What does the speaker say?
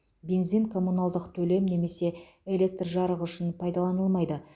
бензин коммуналдық төлем немесе электр жарығы үшін пайдаланылмайды